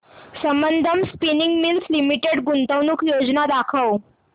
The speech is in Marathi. संबंधम स्पिनिंग मिल्स लिमिटेड गुंतवणूक योजना दाखव